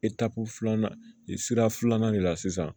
filanan i sira filanan de la sisan